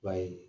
Ba ye